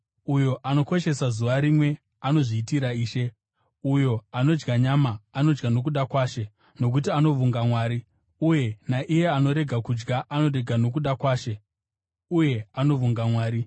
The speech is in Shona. Uyo anokoshesa zuva rimwe, anozviitira Ishe. Uyo anodya nyama, anodya nokuda kwaShe, nokuti anovonga Mwari; uye naiye anorega kudya, anorega nokuda kwaShe, uye anovonga Mwari.